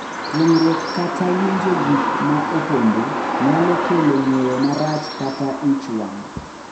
Kuong’ruok kata winjo gik ma opondo nyalo kelo ng’eyo marach kata ich wang’,